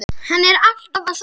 Hann er alltaf að sofna.